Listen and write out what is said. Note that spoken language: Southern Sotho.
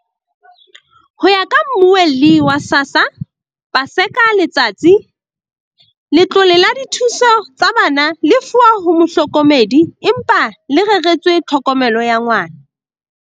Ho ya ka Mmuelli wa SASSA, Paseka Letsatsi, letlole la dithuso tsa bana le lefuwa ho mohlokomedi, empa le reretswe tlhokomelo ya ngwana.